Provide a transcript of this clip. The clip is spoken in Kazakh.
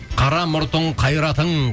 қара мұртың қайратың